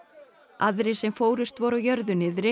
aðrir sem fórust voru á jörðu niðri